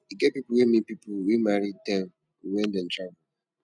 e get pipo wey meet pipo wey marry dem wen dem travel